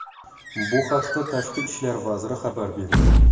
Bu haqda Tashqi ishlar vazirigi xabar berdi .